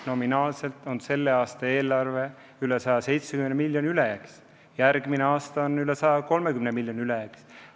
Nominaalselt on selle aasta eelarve 170 miljoniga ülejäägis, järgmise aasta oma 130 miljoniga ülejäägis.